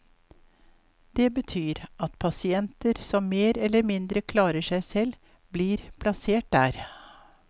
Det betyr at pasienter som mer eller mindre klarer seg selv, blir plassert der.